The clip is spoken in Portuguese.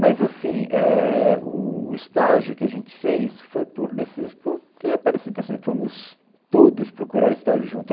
Mas, assim, é, o o estágio que a gente fez foi por necessi... Porque é parecido, assim, fomos todos procurar estágio junto.